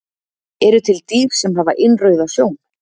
eru til dýr sem hafa innrauða sjón